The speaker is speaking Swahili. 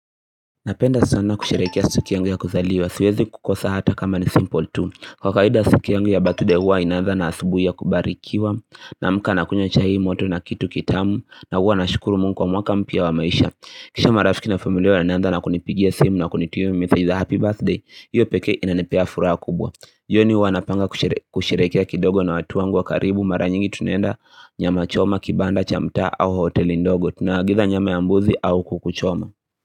Napenda sana kusherehekea siku yangu ya kuzaliwa. Siwezi kukosa hata kama ni simple tu Kwa kawaida siku yangu ya birthday huwa inanza na asubuhi ya kubarikiwa. Namka nakunya chai moto na kitu kitamu. Na huwa nashukuru mungu kwa mwaka mpya wa maisha. Kisha marafiki na familia wanaanza na kunipigia simu na kunitumia message za happy birthday. Hiyo pekee inanipea furaha kubwa. Jioni huwa napanga kusherehekea kidogo na watu wangu wa karibu mara nyingi tunaenda nyama choma kibanda cha mtaa au hoteli ndogo. Tunaagiza nyama ya mbuzi au kuku choma.